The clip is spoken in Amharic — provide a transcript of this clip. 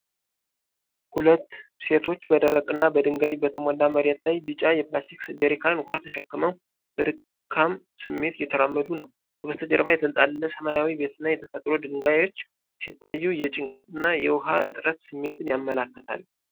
ሁለት ሴቶች በደረቅና በድንጋይ በተሞላ መሬት ላይ ቢጫ የፕላስቲክ ጀሪካን ውሃ ተሸክመው በድካም ስሜት እየተራመዱ ነው። ከበስተጀርባ የተንጣለለ ሰማያዊ ቤትና የተፈጥሮ ድንጋዮች ሲታዩ የጭንቀት እና የውሃ እጥረት ስሜትን ያመለክታሉ።